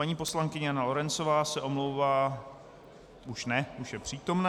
Paní poslankyně Jana Lorencová se omlouvá - už ne, už je přítomna.